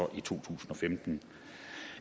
i to tusind og femten